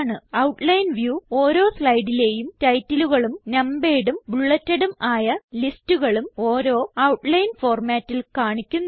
outline view ഓരോ സ്ലൈഡിലേയും titleകളും numeredഉം bulletedഉം ആയ ലിസ്റ്റുകളും ഓരോ ഔട്ട്ലൈൻ ഫോർമാറ്റിൽ കാണിക്കുന്നു